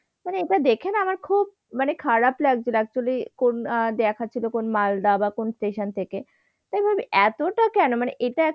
মানে এটা না দেখে আমার খুব মানে খারাপ লাগছিল actually কোন আহ দেখাচ্ছিল কোন মালদা বা কোন station থেকে। তাই ভাবি এতটা কেন?